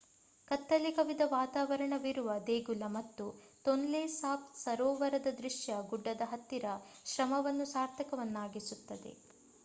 ಕತ್ತಲೆ ಕವಿದ ವಾತಾವರಣವಿರುವ ದೇಗುಲ ಮತ್ತು ತೊನ್ಲೆ ಸಾಪ್ ಸರೋವರದ ದೃಶ್ಯ ಗುಡ್ಡ ಹತ್ತಿದ ಶ್ರಮವನ್ನು ಸಾರ್ಥಕವನ್ನಾಗಿಸುತ್ತದೆ